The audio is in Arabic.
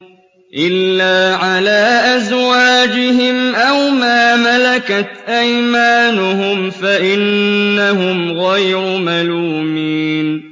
إِلَّا عَلَىٰ أَزْوَاجِهِمْ أَوْ مَا مَلَكَتْ أَيْمَانُهُمْ فَإِنَّهُمْ غَيْرُ مَلُومِينَ